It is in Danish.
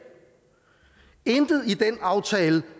intet i den aftale